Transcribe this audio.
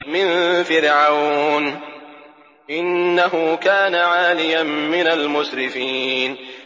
مِن فِرْعَوْنَ ۚ إِنَّهُ كَانَ عَالِيًا مِّنَ الْمُسْرِفِينَ